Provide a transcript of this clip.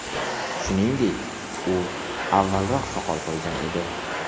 Shuningdek, u avvalroq soqol qo‘ygan edi.